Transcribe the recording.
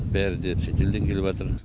бәрі де шетелден келіп жатыр